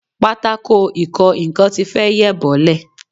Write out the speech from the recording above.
Pátákò ìkọ nǹkan ti fẹ́ yẹ̀ bọ́lẹ̀